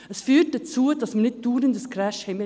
Das führt dazu, dass es nicht dauernd zum Crash kommt;